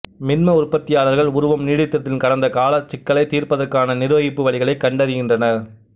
மின்ம உற்பத்தியாளர்கள் உருவம் நீடித்திருத்தலின் கடந்த காலச் சிக்கலைத் தீர்ப்பதற்கான நிர்வகிப்பு வழிகளைக் கண்டிருக்கின்றனர்